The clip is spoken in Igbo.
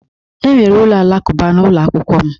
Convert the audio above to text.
Enwere ụlọ alakụba n'ụlọ akwụkwọ m.